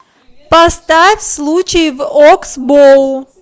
поставь случай в окс боу